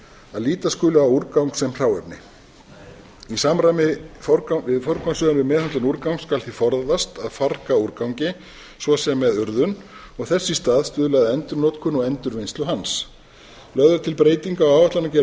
að líta skuli á úrgang sem hráefni í samræmi við forgangsröðun við meðhöndlun úrgangs skal því forðast að farga úrgangi svo sem með urðun og þess í stað stuðla að endurnotkun og endurvinnslu hans lögð er til breyting á áætlanagerð